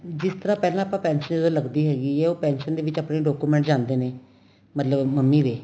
ਜਿਸ ਤਰ੍ਹਾਂ ਪਹਿਲਾਂ ਆਪਾਂ pension ਤਾਂ ਲਗਦੀ ਹੈਗੀ ਏ ਉਹ pension ਦੇ ਵਿੱਚ ਆਪਣੇ document ਜਾਂਦੇ ਨੇ ਮਤਲਬ ਮੰਮੀ ਦੇ